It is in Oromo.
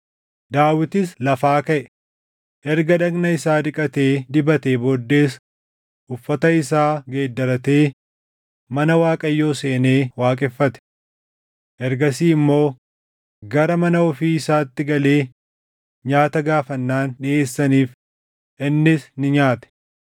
Daawitis lafaa kaʼe. Erga dhagna isaa dhiqatee dibatee booddees uffata isaa geeddaratee mana Waaqayyoo seenee waaqeffate. Ergasii immoo gara mana ofii isaatti galee nyaata gaafannaan dhiʼeessaniif; innis ni nyaate.